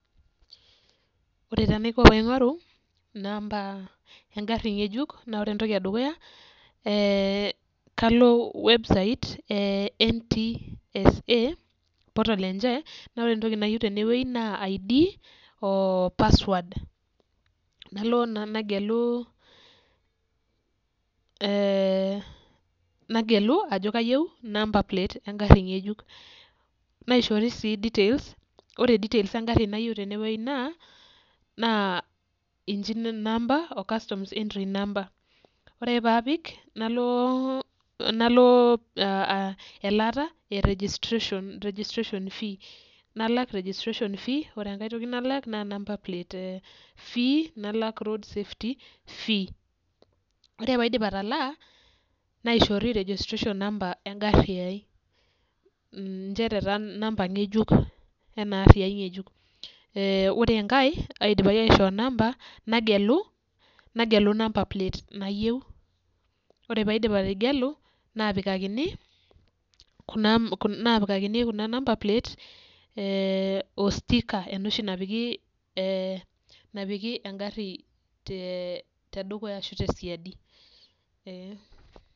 Ore taa enaiko tenaingoru inamba egari ngejuk, naa ore entoki edukuya, kalo website ee ntpsa portal enye, naa ore entoki naayieu, tene naa entoki id oo password nalo naa nagelu ajo kayieu number plate egari ngejuk, naishori sii details ore details egari, nayieu tene wueji naa, ingine number, customer entry number .ore ake pee apik, nalo elaata e registration fee nalak registration fee ore enkae nalak, naa number plate fee nalak road safety fee ore pee aidip atalaa, naishoori registration number egari ai, nchere taa number ngejuk, ee ore enkae aidipaki aishoo, number nagelu, number plate nayieu, ore pee aidip ategelu naapikakini, kuna number plate o stickers napiki egari tedukuya ashu tesiadi.